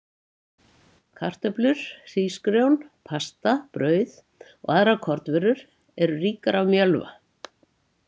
Kartöflur, hrísgrjón, pasta, brauð og aðrar kornvörur eru ríkar af mjölva.